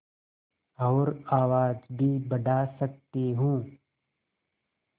और आवाज़ भी बढ़ा सकती हूँ